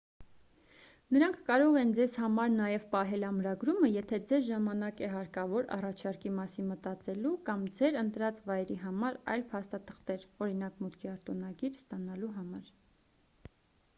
նրանք կարող են ձեզ համար նաև պահել ամրագրումը եթե ձեզ ժամանակ է հարկավոր առաջարկի մասին մտածելու կամ ձեր ընտրած վայրի համար այլ փաստաթղթեր օրինակ՝ մուտքի արտոնագիր ստանալու համար: